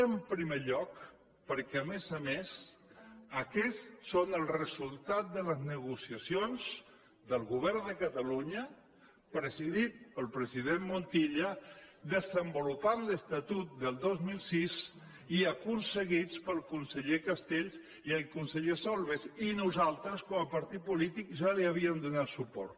en primer lloc perquè a més a més aquests són els resultats de les ne·gociacions del govern de catalunya presidit pel presi·dent montilla que desenvolupaven l’estatut del dos mil sis i aconseguits pel conseller castells i el conseller sol·bes i nosaltres com a partit polític ja hi havíem donat suport